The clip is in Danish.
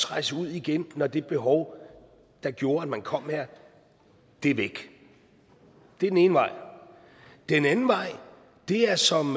rejse ud igen når det behov der gjorde at man kom her er væk det er den ene vej den anden vej er som